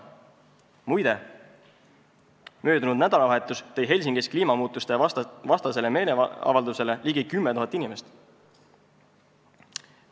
Muide, möödunud nädalavahetus tõi Helsingis kliimamuutuste vastasele meeleavaldusele ligi 10 000 inimest.